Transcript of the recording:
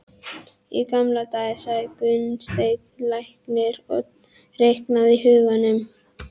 Í gamla daga, sagði Gunnsteinn læknir og reiknaði í huganum.